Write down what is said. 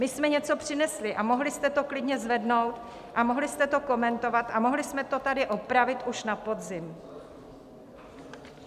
My jsme něco přinesli a mohli jste to klidně zvednout a mohli jste to komentovat a mohli jsme to tady opravit už na podzim.